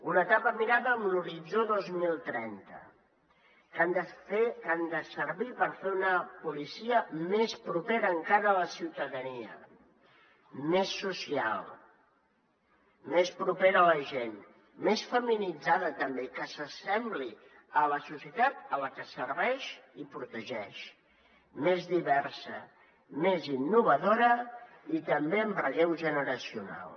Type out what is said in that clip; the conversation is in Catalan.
una etapa mirada amb l’horitzó dos mil trenta que ha de servir per fer una policia més propera encara a la ciutadania més social més propera a la gent més feminitzada també que s’assembli a la societat a la que serveix i protegeix més diversa més innovadora i també amb relleu generacional